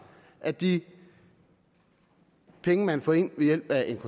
at de penge man får ind ved hjælp af en